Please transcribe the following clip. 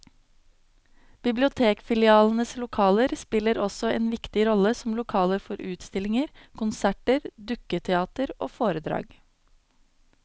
Bibliotekfilialenes lokaler spiller også en viktig rolle som lokaler for utstillinger, konserter, dukketeater og foredrag.